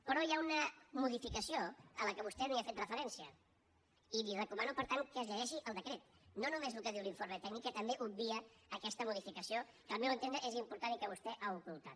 però hi ha una modificació a la qual vostè no hi ha fet referència i li recomano per tant que es llegeixi el decret no només el que diu l’informe tècnic que també obvia aquesta modificació que al meu entendre és important i que vostè ha ocultat